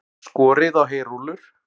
Skorið á heyrúllur